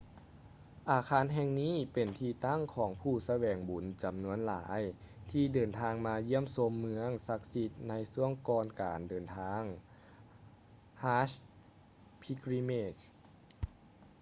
ອາຄານແຫ່ງນີ້ເປັນທີ່ຕັ້ງຂອງຜູ້ສະແຫວງບຸນຈໍານວນຫລາຍທີ່ເດີນທາງມາຢ້ຽມຊົມເມືອງສັກສິດໃນຊ່ວງກ່ອນການເດີນທາງ hajj pilgrimage